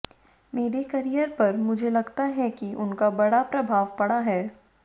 मेरे करियर पर मुझे लगता है कि उनका बड़ा प्रभाव पड़ा है